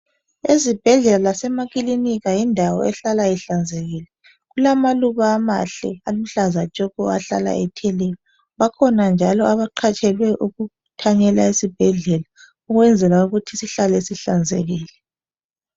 esibhedlela lasema klinika yindawo ehlala ihlanzekile kulamaluba amahle aluhlaza atshoko ahlala ethelelwa bakhona njalo abaqatshelwe ukuthanyela esibhedlela ukwenzela ukuthi sihlale sihlanzekile.